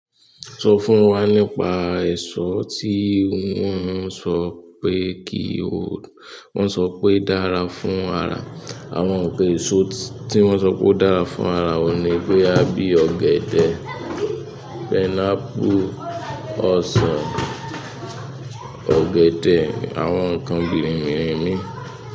Sọ fún wa nípa èso tí wọ́n ń sọ pé kí o, wọ́n ń sọ pé dára fún ara. Àwọn ǹnkan èso tí wọ́n ń sọ pé ó dára fún ara oun ni boya bí ọ̀gẹ̀dẹ̀, pineapple, ọsàn, ọ̀gẹ̀dẹ̀, àwọn ǹnkan gidi mii.